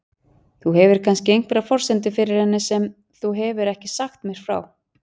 Þú hefur kannski einhverjar forsendur fyrir henni sem þú hefur ekki sagt mér frá?